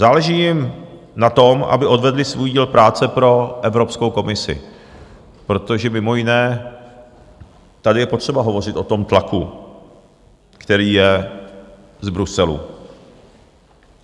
Záleží jim na tom, aby odvedly svůj díl práce pro Evropskou komisi, protože mimo jiné tady je potřeba hovořit o tom tlaku, který je z Bruselu.